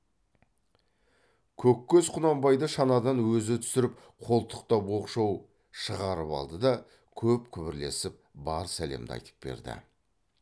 көккөз құнанбайды шанадан өзі түсіріп қолтықтап оқшау шығарып алды да көп күбірлесіп бар сәлемді айтып берді